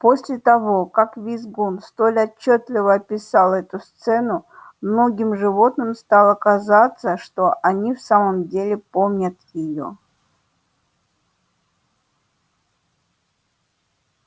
после того как визгун столь отчётливо описал эту сцену многим животным стало казаться что они в самом деле помнят её